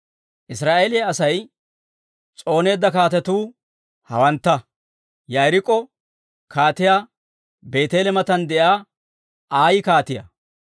Israa'eeliyaa Asay s'ooneedda kaatetuu hawantta; Yaarikko kaatiyaa, Beeteele matan de'iyaa Ayi kaatiyaa,